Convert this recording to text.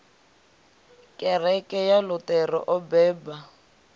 kereke ya luṱere o beba